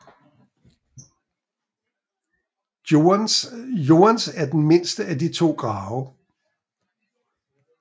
Joans er den mindste af de to grave